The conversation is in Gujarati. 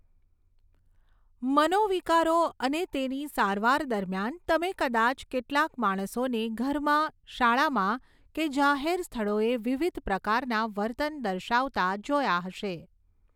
મનોવિકારો અને તેની સારવાર દરમિયાન તમે કદાચ કેટલાક માણસોને ઘરમાં શાળામાં કે જાહેર સ્થળોએ વિવિધ પ્રકારના વર્તન દર્શાવતા જોયા હશે.